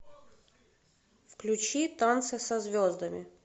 включи танцы со звездами